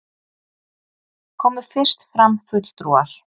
Komu fyrst fram fulltrúar